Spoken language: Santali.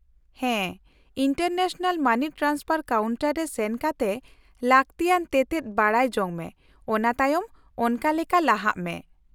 -ᱦᱮᱸ, ᱤᱱᱴᱟᱨᱱᱮᱥᱱᱟᱞ ᱢᱟᱱᱤ ᱴᱨᱟᱱᱥᱯᱷᱟᱨ ᱠᱟᱣᱩᱱᱴᱟᱨ ᱨᱮ ᱥᱮᱱ ᱠᱟᱛᱮ ᱞᱟᱹᱠᱛᱤᱭᱟᱱ ᱛᱮᱛᱮᱫ ᱵᱟᱰᱟᱭ ᱡᱚᱝ ᱢᱮ, ᱚᱱᱟ ᱛᱟᱭᱚᱢ ᱚᱱᱠᱟ ᱞᱮᱠᱟ ᱞᱟᱦᱟᱜ ᱢᱮ ᱾